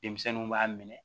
Denmisɛnninw b'a minɛ